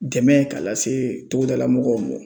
Dɛmɛ k'a lase togodala mɔgɔw mɔ